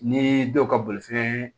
Ni dɔw ka bolifɛn